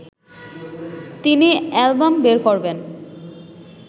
তিনি অ্যালবাম বের করবেন